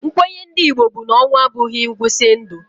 Nkwenye ndị Igbo bụ na ọnwụ a bụghị ngwụsị ndụ.